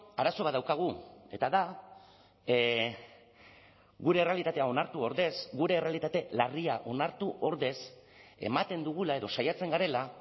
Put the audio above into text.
arazo bat daukagu eta da gure errealitatea onartu ordez gure errealitate larria onartu ordez ematen dugula edo saiatzen garela